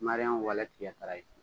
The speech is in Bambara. Maria walan tigɛ sara ye